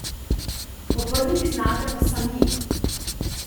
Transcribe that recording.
Obrniti znate pa sami...